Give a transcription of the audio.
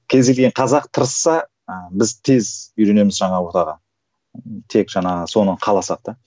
кез келген қазақ тырысса ыыы біз тез үйренеміз жаңа ортаға тек жаңағы соны қаласақ та